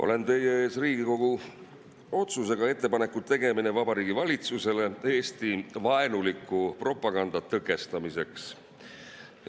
Olen teie ees Riigikogu otsusega "Ettepaneku tegemine Vabariigi Valitsusele Eesti-vaenuliku propaganda tõkestamiseks".